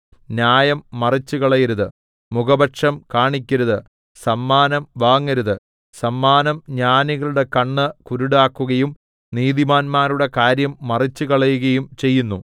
ന്യായം മറിച്ചുകളയരുത് മുഖപക്ഷം കാണിക്കരുത് സമ്മാനം വാങ്ങരുത് സമ്മാനം ജ്ഞാനികളുടെ കണ്ണ് കുരുടാക്കുകയും നീതിമാന്മാരുടെ കാര്യം മറിച്ചുകളയുകയും ചെയ്യുന്നു